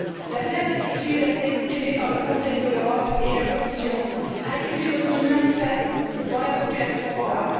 La même inquiétude a été exprimée par le Conseil de l'Europe et la Commission, inquiétude aussi manifeste dans la population hongroise.